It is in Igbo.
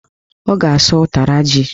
Ọ ga-asụ ụtara ji